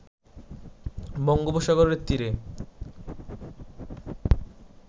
বঙ্গোপসাগরের তীরে